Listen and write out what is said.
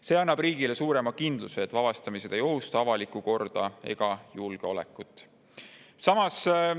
See annab riigile suurema kindluse, et vabastamised ei ohusta avalikku korda ega julgeolekut.